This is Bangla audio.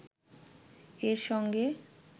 এর সঙ্গে